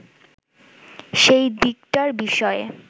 সেই দিকটার বিষয়ে